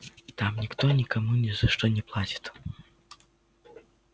там никто никому ни за что не платит